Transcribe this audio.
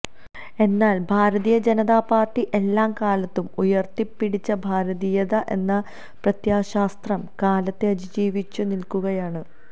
എന്നാല് ഭാരതീയ ജനതാപാര്ട്ടി എല്ലാ കാലത്തും ഉയര്ത്തിപ്പിടിച്ച ഭാരതീയത എന്ന പ്രത്യയശാസ്ത്രം കാലത്തെ അതിജീവിച്ചു നില്ക്കുകയാണ്